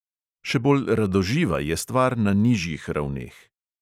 Še bolj radoživa je stvar na nižjih ravneh.